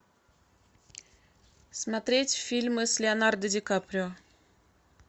смотреть фильмы с леонардо ди каприо